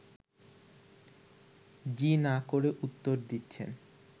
জি না করে উত্তর দিচ্ছে